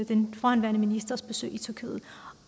den forhenværende ministers besøg i tyrkiet